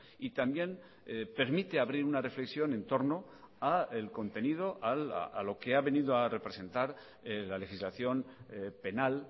y también permite abrir una reflexión en torno al contenido a lo que ha venido a representar la legislación penal